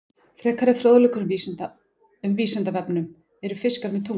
Frekari fróðleikur um Vísindavefnum: Eru fiskar með tungu?